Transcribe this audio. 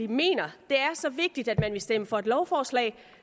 mener det er så vigtigt at man vil stemme for et lovforslag